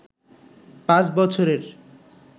পাঁচ বছরের